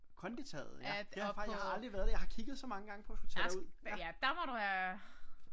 Konditaget ja det har jeg faktisk jeg har aldrig været der jeg har kigget så mange gange på at skulle tage derud